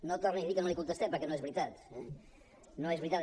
no torni a dir que no li contestem perquè no és veritat eh no és veritat